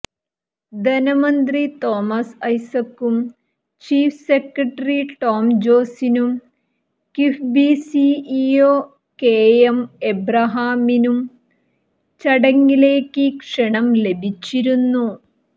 ധനമന്ത്രി തോമസ് ഐസകും chief secretary Tom ജോസിനും കിഫ്ബി സിഇഒ കെഎം എബ്രഹാമിനും ചടങ്ങിലേക്ക് ക്ഷണം ലഭിച്ചിരുന്നു